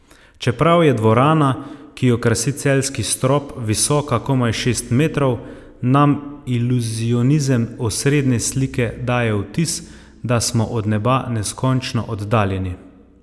Čeprav je dvorana, ki jo krasi Celjski strop, visoka komaj šest metrov, nam iluzionizem osrednje slike daje vtis, da smo od neba neskončno oddaljeni.